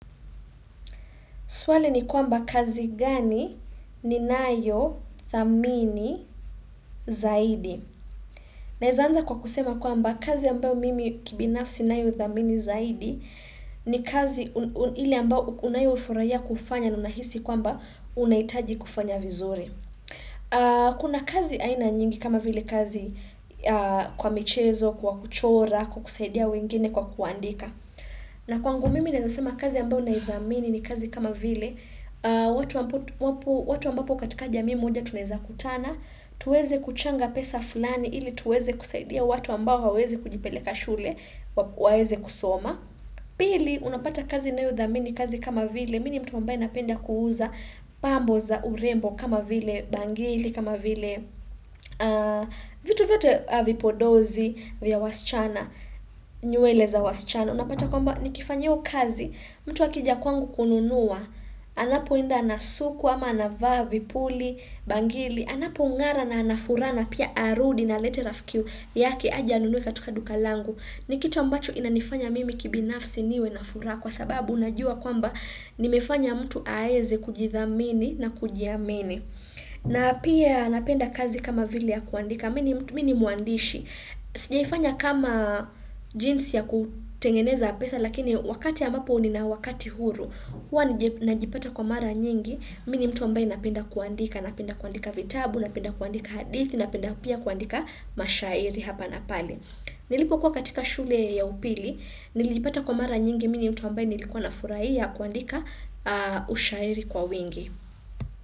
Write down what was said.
Swali ni kwamba kazi gani ninayo thamini zaidi. Naeza anza kwa kusema kwamba kazi ambayo mimi kibinafsi nayo thamini zaidi ni kazi ile ambao unayofurahia kufanya na unahisi kwamba unahitaji kufanya vizuri. Kuna kazi aina nyingi kama vile kazi kwa michezo, kwa kuchora, kwa kusaidia wengine kwa kuandika. Na kwangu mimi naeza sema kazi ambayo naithamini ni kazi kama vile watu ambapo katika jamii moja tunaeza kutana, tuweze kuchanga pesa fulani ili tuweze kusaidia watu ambao hawawezi kujipeleka shule waweze kusoma Pili, unapata kazi nayothamini ni kazi kama vile Mimi ni mtu ambaye napenda kuuza pambo za urembo kama vile bangili kama vile vitu vyote vipodozi vya wasichana nywele za wasichana. Unapata kwamba nikifanya hiyo kazi, mtu akija kwangu kununua, anapoenda anasukwa ama anavaa, vipuli, bangili, anapong'ara na ana furaha na pia arudi na alete rafiki yake aje anunue katika duka langu. Ni kitu ambacho inanifanya mimi kibinafsi niwe na furaha kwa sababu najua kwamba nimefanya mtu aeze kujithamini na kujiamini. Na pia napenda kazi kama vile ya kuandika, mi ni mwandishi, sijaifanya kama jinsi ya kutengeneza pesa lakini wakati ambapo nina wakati huru, hua najipata kwa mara nyingi, mimi ni mtu ambaye napenda kuandika, napenda kuandika vitabu, napenda kuandika hadithi, napenda pia kuandika mashairi hapa na pale Nilipokuwa katika shule ya upili, nilipata kwa mara nyingi, mi ni mtu ambaye nilikuwa na furahia kuandika ushairi kwa wingi.